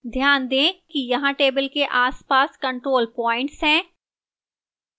ध्यान दें कि यहां table के आसपास control points हैं